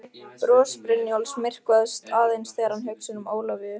Bros Brynjólfs myrkvast aðeins þegar hann hugsar um Ólafíu.